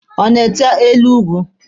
Ọ na-ete elu ugwu?